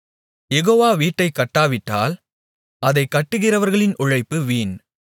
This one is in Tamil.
யெகோவா வீட்டைக் கட்டாவிட்டால் அதைக் கட்டுகிறவர்களின் உழைப்பு வீண்